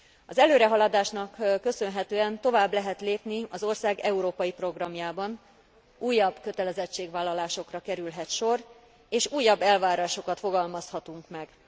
Az előrehaladásnak köszönhetően tovább lehet lépni az ország európai programjában, újabb kötelezettségvállalásokra kerülhet sor, és újabb elvárásokat fogalmazhatunk meg.